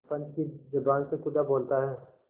पंच की जबान से खुदा बोलता है